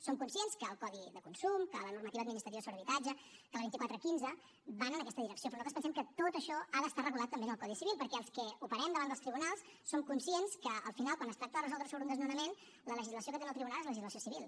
som conscients que el codi de consum que la normativa administrativa sobre habitatge que la vint quatre quinze van en aquesta direcció però nosaltres pensem que tot això ha d’estar regulat també en el codi civil perquè els que operem davant dels tribunals som conscients que al final quan es tracta de resoldre sobre un desnonament la legislació que tenen al tribunal és legislació civil